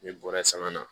N'i bɔra sanga na